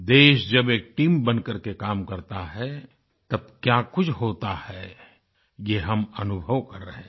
देश जब एक टीम बन करके काम करता है तब क्या कुछ होता है ये हम अनुभव कर रहें हैं